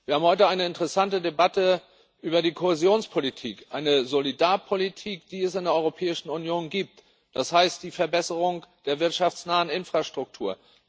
Wir haben heute eine interessante Debatte über die Kohäsionspolitik eine Solidarpolitik, die es in der Europäischen Union gibt, das heißt, die Verbesserung der wirtschaftsnahen Infrastruktur.